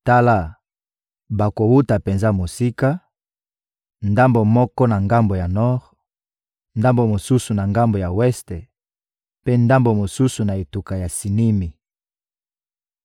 Tala, bakowuta penza mosika, ndambo moko na ngambo ya nor, ndambo mosusu na ngambo ya weste, mpe ndambo mosusu na etuka ya Sinimi.»